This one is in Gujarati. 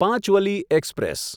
પાંચવલી એક્સપ્રેસ